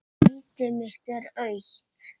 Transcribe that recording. Sæti mitt er autt.